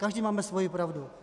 Každý máme svoji pravdu.